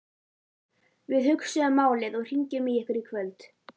Við hugsum málið og hringjum í ykkur í kvöld